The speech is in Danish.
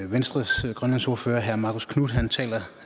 venstres grønlandsordfører herre marcus knuth taler